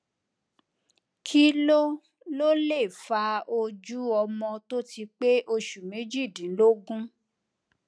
kí ló ló lè fa ojú ọmọ tó ti pé oṣù méjìdínlógún